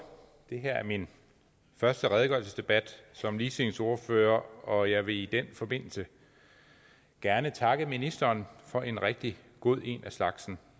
det her er min første redegørelsesdebat som ligestillingsordfører og jeg vil i den forbindelse gerne takke ministeren for en rigtig god en af slagsen